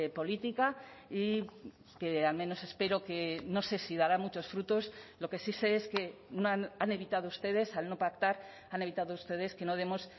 política y que al menos espero que no sé si dará muchos frutos lo que sí sé es que han evitado ustedes al no pactar han evitado ustedes que no demos